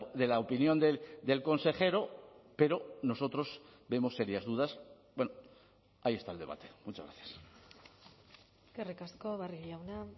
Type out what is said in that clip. de la opinión del consejero pero nosotros vemos serias dudas ahí está el debate muchas gracias eskerrik asko barrio jauna